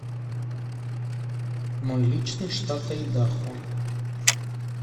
мой личный штат айдахо